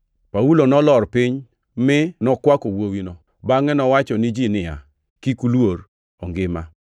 Paulo nolor piny mi nokwako wuowino. Bangʼe nowacho ni ji niya, “Kik uluor. Ongima!”